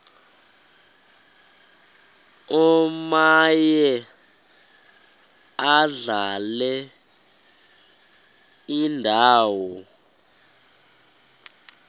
omaye adlale indawo